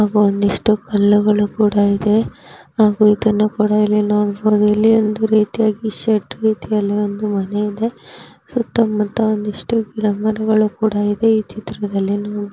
ಹಾಗು ಒಂದಿಷ್ಟು ಕಲ್ಲುಗಳು ಸಹ ಇದೆ ಹಾಗು ಇದನ್ನು ಕೂಡಾ ಇಲ್ಲಿ ನೋಡಬಹುದು ನಾವು ಇಲ್ಲಿ ಒಂದು ರೀತಿಯಲ್ಲಿ ಶೇಡ್ ರೀತಿಯಲ್ಲಿ ಒಂದು ಮನೆಯಿದೆ ಸುತ್ತ ಮುತ್ತ ಒಂದಿಷ್ಟು ಗಿಡ ಮರಗಳುಕುಡ ಇವೆ ಈ ಚಿತ್ರದಲ್ಲಿ ನೋಡ ಬಹುದು.